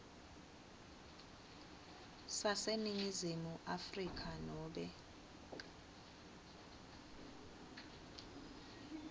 saseningizimu afrika nobe